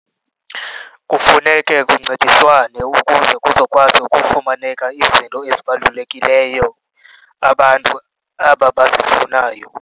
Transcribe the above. Kufuneke kuncediswane ukuze kuzokwazi ukufumaneka izinto ezibalulekileyo abantu aba bazifunayo.